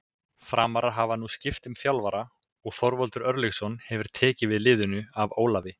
Framarar hafa nú skipt um þjálfara og Þorvaldur Örlygsson hefur tekið við liðinu af Ólafi.